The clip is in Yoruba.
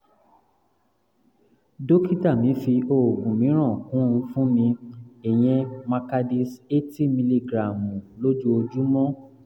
dókítà mi fi oògùn mìíràn kún un fún mi ìyẹn macardis eighty miligíráàmù lójoojúmọ́